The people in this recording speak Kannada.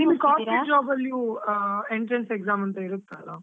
Corporate jobs ಅಲ್ಲಿಯು ಆ entrance exam ಅಂತಾ ಇರುತ್ತಲ್ಲಾ?